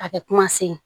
A bɛ kuma se